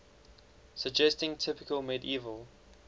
suggesting typical medieval